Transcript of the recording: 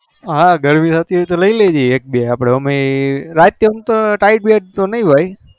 હા ગરમી હતી તો એક બે લઇ લેજે અમે રાતે નઈ હોય